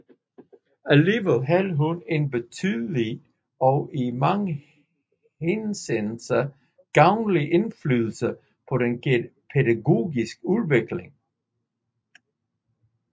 Alligevel havde han en betydelig og i mange henseender gavnlig indflydelse på den pædagogiske udvikling